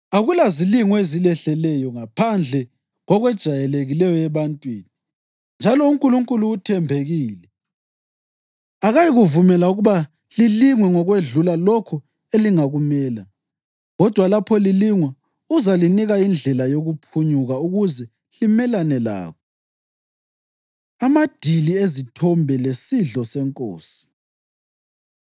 Akulazilingo ezilehleleyo ngaphandle kokwejayelekileyo ebantwini. Njalo uNkulunkulu uthembekile; akayikuvumela ukuba lilingwe ngokwedlula lokho elingakumela. Kodwa lapho lilingwa, uzalinika indlela yokuphunyuka ukuze limelane lakho. AmaDili Ezithombe Lesidlo SeNkosi